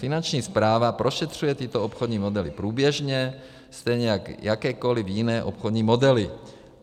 Finanční správa prošetřuje tyto obchodní modely průběžně, stejně jako jakékoliv jiné obchodní modely.